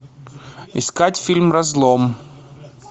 искать фильм разлом